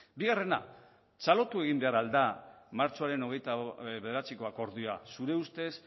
bigarrena txalotu egin behar al da martxoaren hogeita bederatziko akordioa zure ustez